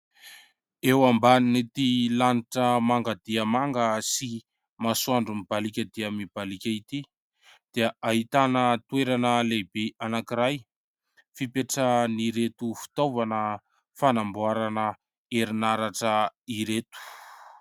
Eo ambanin'ity lanitra manga dia manga sy masoandro mibaliaka dia mibaliaka ity, dia ahitana toerana lehibe anankiray, fipetrahan'ireto fitaovana fanamboarana herin'aratra ireto.